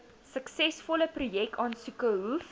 suksesvolle projekaansoeke hoef